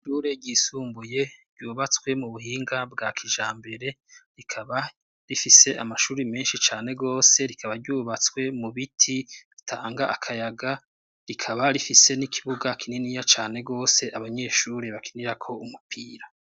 Ishure ryisumbuye ryubatswe mu buhinga bwa kijambere rikaba rifise amashuri menshi cane gose rikaba ryubatswe mu biti ritanga akayaga rikaba rifise n'ikibuga kininiya cane gose abanyeshuri bakinirako umupira.